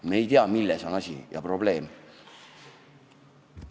Me ei tea, milles on asi, milles on probleem.